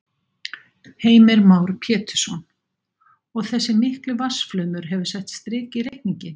Heimir Már Pétursson: Og þessi mikli vatnsflaumur hefur sett strik í reikninginn?